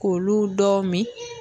K'olu dɔw min